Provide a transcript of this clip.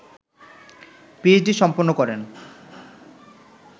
PhD সম্পন্ন করেন